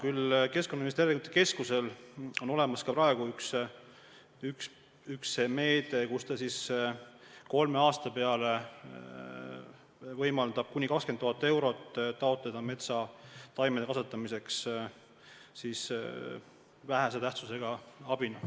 Aga Keskkonnainvesteeringute Keskusel on ka praegu üks meede: kolme aasta peale on antud kuni 20 000 eurot, et saaks taotleda metsataimede kasvatamiseks vähese tähtsusega abi.